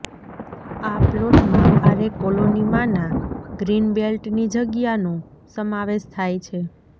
આ પ્લોટમાં આરે કોલોનીમાંના ગ્રીન બેલ્ટની જગ્યાનો સમાવેશ થાય છે